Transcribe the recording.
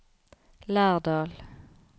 Lærdal